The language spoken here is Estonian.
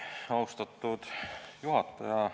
Austatud juhataja!